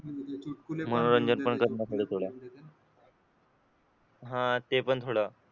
मनोरंजन पण कर ना थोडं थोडं हा ते पण थोडं